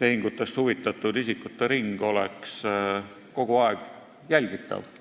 tehingutest huvitatud isikute ring – oleks kogu aeg jälgitavad.